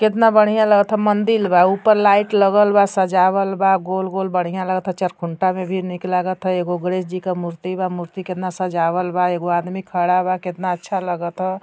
केतना बढ़िया लागता मंदिल बा उपरा लाइट लगल बा सजावल बा गोल गोल बढ़िया लागता चरखूंटा में भी नीक लागत एगो गणेश जी क मूर्ति बा मूर्ति केतना सजावल बा एगो आदमी खड़ा बा केतना अच्छा लागता --